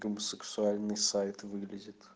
сексуальные сайт выглядит